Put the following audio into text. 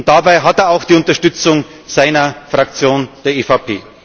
Dabei hat er auch die Unterstützung seiner Fraktion, der EVP.